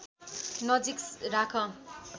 नजिक राख